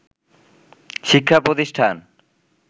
শিক্ষা প্রতিষ্ঠান